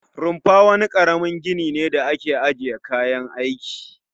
Rufa wani karamin gini ne da ake ajiye kayan aiki